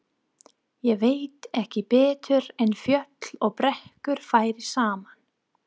Ég veit ekki betur en fjöll og brekkur fari saman.